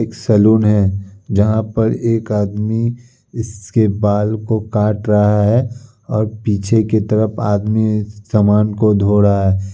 एक सलून है जहाँ पर एक आदमी इसके बाल को काट रहा है और पीछे की तरफ आदमी समान को धो रहा है।